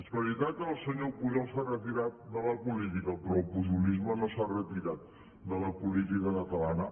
és veritat que el senyor pujol s’ha retirat de la política però el pujolisme no s’ha retirat de la política catalana